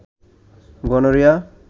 gonorrhoea